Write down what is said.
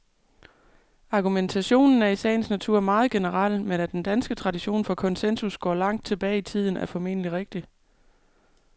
Argumentationen er i sagens natur meget generel, men at den danske tradition for konsensus går langt tilbage i tiden, er formentlig rigtigt.